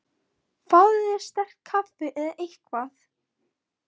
Fáðu þér sterkt kaffi eða eitthvað.